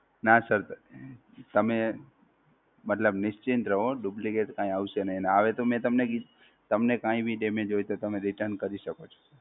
નાં Sir તમે, મતલબ નિશ્ચિત રહો Duplicate કાંઈ આવશે નહિ. અને આવે તો મે તમને કી, તમને કાંઈ ભી damage હોય તો તમે Return કરી શકો છો!